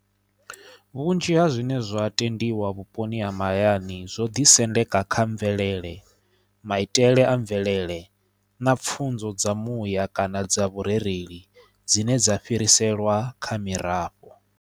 Vhunzhi ha zwine zwa tendiwa vhuponi ha mahayani zwo ḓi sendeka kha mvelele maitele a mvelele na pfhunzo dza muya kana dza vhurereli dzine dza fhiriselwa kha mirafho.